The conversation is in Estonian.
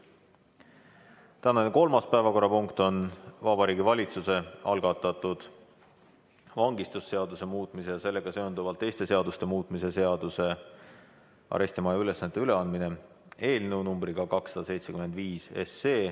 Tänane kolmas päevakorrapunkt on Vabariigi Valitsuse algatatud vangistusseaduse muutmise ja sellega seonduvalt teiste seaduste muutmise seaduse eelnõu numbriga 275.